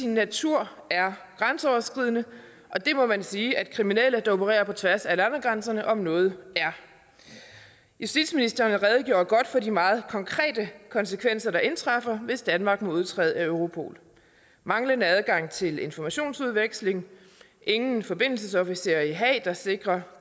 natur er grænseoverskridende og det må man sige at kriminelle der opererer på tværs af landegrænserne om noget er justitsministeren redegjorde godt for de meget konkrete konsekvenser der indtræffer hvis danmark må udtræde af europol manglende adgang til informationsudveksling ingen forbindelsesofficer i haag der sikrer